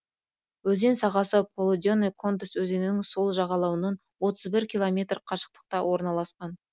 өзен сағасы полуденный кондас өзенінің сол жағалауынан отыз бір километр қашықтықта орналасқан